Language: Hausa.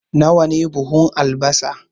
Nawa ne buhun albasa?